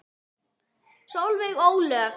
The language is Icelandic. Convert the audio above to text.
Solveig Ólöf.